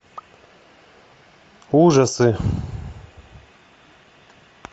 ужасы